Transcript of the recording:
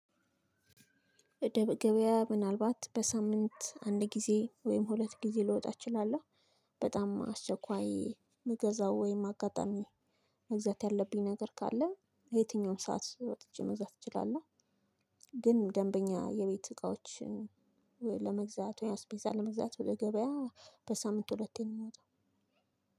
ገበያ ምናልባት በሳምንት አንድ ጊዜ ወይም ሁለት ጊዜ ልወጣ እችላለሁ። በጣም አስቸኳይ የምገዛው ወይም አጋጣሚ መግዛት ያለብኝ ነገር ካለ በየትኛውም ሰዓት ወጥቼ መግዛት እችላለሁ። ግን ደንበኛ የቤት እቃዎችን ለመግዛት ወይ አስፔዛ ለመግዛት ወደ ገበያ በሳምንት ሁለቴ ነው የምወጣው።